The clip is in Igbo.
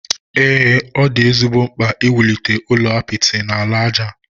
Ee, ọ dị ezigbo mkpa iwulite ụlọ apịtị na ala aja.